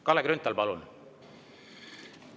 Kalle Grünthal, palun!